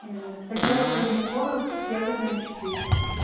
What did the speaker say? ээ посёлок родниковый ягодная четыре